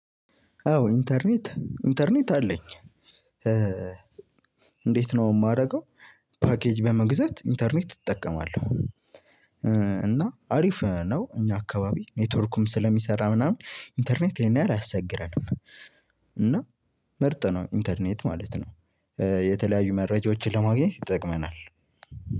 አዎ ኢንተርኔት ኢንተርኔት አለኝ። እንዴት ነው የማደርገው? ፓኬጅ በመግዛት ኢንተርኔት እጠቀማለሁ። እና አሪፍ ነው እኛ አካባቢ ኔትወርኩም ስለሚሰራ ምናምን ኢንተርኔት ይህን ያህል አያስቸግረንም። እና ምርጥ ነው ኢንተርኔት ማለት ነው። የተለያዩ መረጃዎችን ለማግኘት ይጠቅመናል።